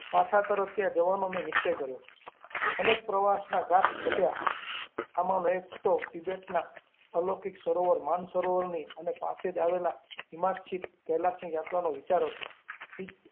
પછા તને ત્યા જવાનો મેં નિશ્ચય કર્યો અનેક પ્રવાસના ઘાટ ઘડ્યા, આમાનો એક તો નબેટના અલૌકિક સરોવર માનસરોવરની અને પાસે જ આવેલા હિમાચ્છાદિત કૈલાસની યાત્રાનો વિચાર હતો.